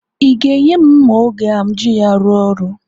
Ị ga-enye m mma oge m ji arụ ọrụ?